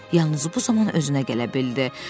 Yalnız bu zaman özünə gələ bildi.